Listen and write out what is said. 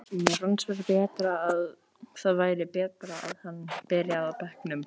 Mér fannst bara að það væri betra að hann byrjaði á bekknum.